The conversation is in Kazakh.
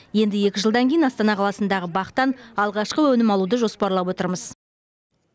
енді екі жылдан кейін астана қаласындағы бақтан алғашқы өнім алуды жоспарлап отырмыз